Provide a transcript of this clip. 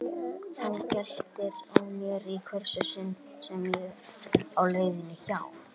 Hann geltir að mér í hvert sinn sem ég á leið hjá.